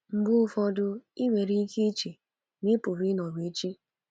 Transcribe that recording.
Mgbe ụfọdụ, ị nwere ike iche ma ị pụrụ ịnọru echi.